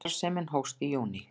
Starfsemin hófst í júní